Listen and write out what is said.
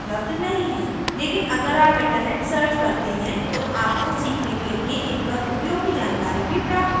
लेकिन अगर आप internet search करते हैं तो आपको सीखने के लिए इन पर उपयोगी जानकारी भी प्राप्त होगी